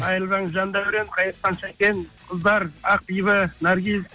қайырлы таң жандәурен қайырлы таң сәкен қыздар ақбибі наргиз